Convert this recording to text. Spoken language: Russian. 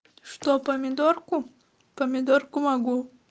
что помидорку помидорку могу